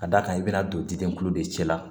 Ka d'a kan i bɛna don diden kulo de cɛ la